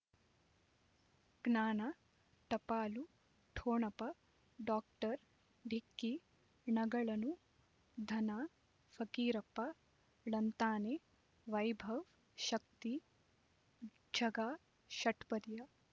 ಜ್ಞಾನ ಟಪಾಲು ಠೊಣಪ ಡಾಕ್ಟರ್ ಢಿಕ್ಕಿ ಣಗಳನು ಧನ ಫಕೀರಪ್ಪ ಳಂತಾನೆ ವೈಭವ್ ಶಕ್ತಿ ಝಗಾ ಷಟ್ಪದಿಯ